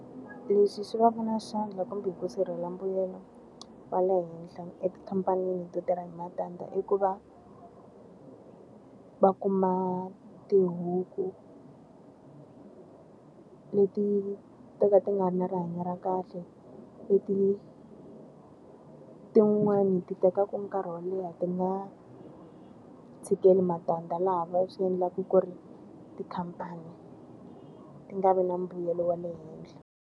Lexi xi va ka na xandla kumbe ku sirhela mbuyelo wa le henhla etikhamphani to tirha hi matandza i ku va, va kuma tihuku leti to ka ti nga ri na rihanyo ra kahle. Leti tin'wani ti tekaka nkarhi wo leha ti nga tshikeli matandza laha swi endlaka ku ri tikhamphani ti nga vi na mbuyelo wa le henhla.